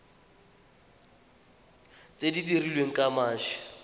tse di dirilweng ka mashi